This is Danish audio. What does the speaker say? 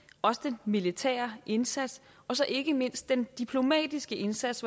også den militære indsats og så ikke mindst den diplomatiske indsats